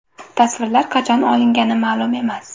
Tasvirlar qachon olingani ma’lum emas.